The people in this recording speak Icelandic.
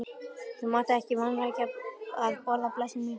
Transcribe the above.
Þú mátt ekki vanrækja að borða, blessuð mín, sagði amma.